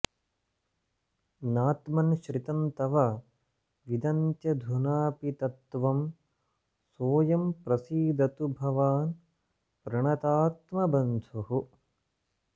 नात्मन् श्रितं तव विदन्त्यधुनापि तत्त्वं सोऽयं प्रसीदतु भवान् प्रणतात्मबन्धुः